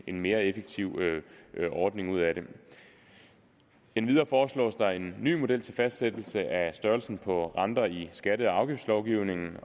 en mere effektiv ordning ud af det endvidere foreslås der en ny model til fastsættelse af størrelsen på renter i skatte og afgiftslovgivningen